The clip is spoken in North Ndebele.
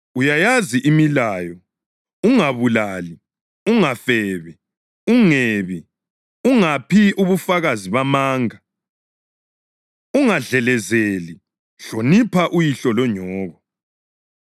Uyayazi imilayo: ‘Ungabulali, ungafebi, ungebi, ungaphi ubufakazi bamanga, ungadlelezeli, hlonipha uyihlo lonyoko.’ + 10.19 U-Eksodasi 20.12-16; UDutheronomi 5.16-20 ”